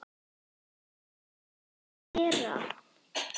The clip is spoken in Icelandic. Elvira, hvenær kemur strætó númer þrettán?